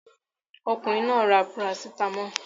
Ọkùnrin náà ra parasítámọ̀.